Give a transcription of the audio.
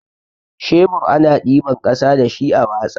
Shebur ana ɗiban ƙasa dashi a watsa.